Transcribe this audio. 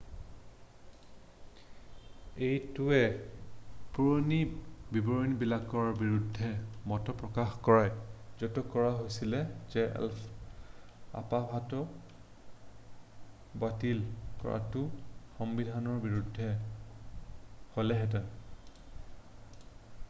এইটোৱে পুৰণি বিবৰণবিলাকৰ বিৰুদ্ধে মত প্ৰকাশ কৰে য'ত কোৱা হৈছিল যে অপবাহতো বাতিল কৰাটো সংবিধানৰ বিৰুদ্ধে হ'লহেঁতেন